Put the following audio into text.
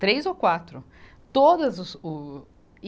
Três ou quatro. Todas o, e